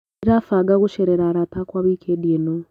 Ndĩrabanga gũcerera arata akwa wikendi ĩno.